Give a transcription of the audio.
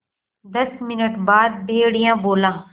दस मिनट बाद भेड़िया बोला